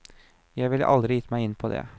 Jeg ville aldri gitt meg inn på det.